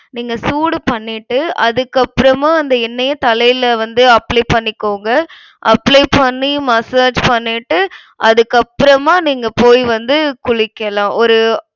நீங்க சூடு பண்ணிட்டு அதுக்கப்புறமா அந்த எண்ணெய்ய தலைல வந்து apply பண்ணிக்கோங்க. apply பண்ணி massage பண்ணிட்டு அதுக்கப்புறமா நீங்க போய் வந்து குளிக்கலாம். ஒரு